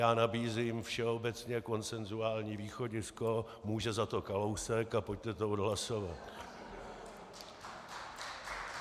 Já nabízím všeobecně konsenzuální východisko "může za to Kalousek", a pojďte to odhlasovat.